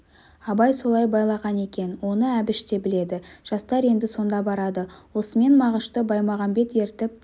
абай солай байлаған екен оны әбіш те біледі жастар енді сонда барады осымен мағышты баймағамбет ертіп